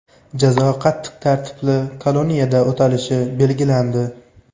Jazo qattiq tartibli koloniyada o‘talishi belgilandi.